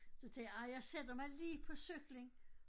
Så tænker jeg ej jeg sætter mig lige på cyklen